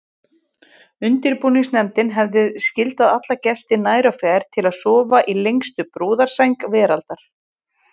Undirbúningsnefndin hefði skyldað alla gesti nær og fjær til að sofa í lengstu brúðarsæng veraldar.